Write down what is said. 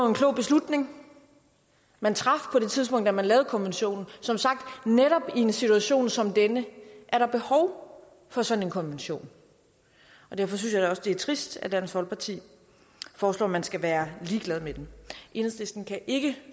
en klog beslutning man traf på det tidspunkt da man lavede konventionen som sagt netop i en situation som denne er der behov for sådan en konvention derfor synes jeg at det er trist at dansk folkeparti foreslår at man skal være ligeglad med den enhedslisten kan ikke